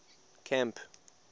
camp